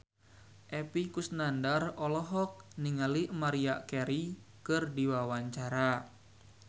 Epy Kusnandar olohok ningali Maria Carey keur diwawancara